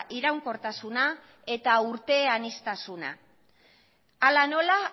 iraunkortasuna eta urte aniztasuna hala nola